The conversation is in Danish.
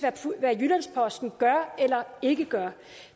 jyllands posten gør eller ikke gør